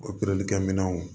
Operelikɛ minɛnw